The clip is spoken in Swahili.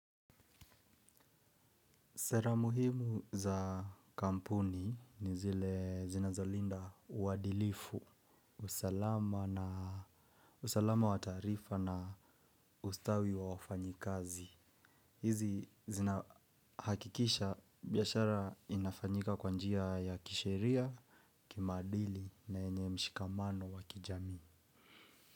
Sera muhimu za kampuni ni zile zinazolinda uadilifu, usalama wa taarifa na ustawi wa wafanyikazi. Hizi zinahakikisha biashara inafanyika kwabnjia ya kisheria, kimaadili na yenye mshikamano wakijamii.